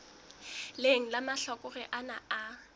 leng la mahlakore ana a